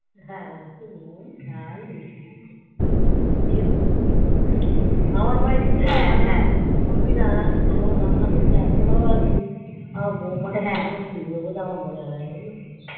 হ্যাঁ একটু নুন ঝাল মিষ্টি একটু মন দিয়ে করবি হম আমার বাড়িতে তো মানে তুই বুঝবিনা আমার রান্না করতে এতো ভালোবাসি আমার বৌমাটা কেন জানি শিখবে বলে আমার মনে হয় না জানিস তো